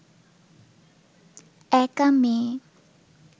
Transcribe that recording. একা মেয়ে